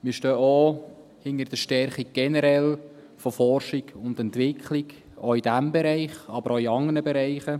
Wir stehen auch generell hinter der Stärkung von Forschung und Entwicklung – in diesem Bereich, aber auch in anderen Bereichen.